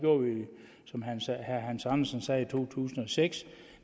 som herre hans andersen sagde i to tusind og seks